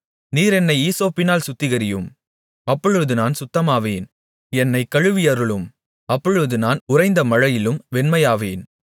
நீர் என்னை ஈசோப்பினால் சுத்திகரியும் அப்பொழுது நான் சுத்தமாவேன் என்னைக் கழுவியருளும் அப்பொழுது நான் உறைந்த மழையிலும் வெண்மையாவேன்